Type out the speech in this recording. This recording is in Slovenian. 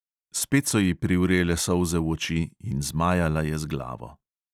Spet so ji privrele solze v oči in zmajala je z glavo.